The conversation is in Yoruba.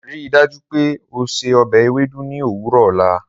Rii daju pe o se ọbẹ Ewedu ni owurọ ọla.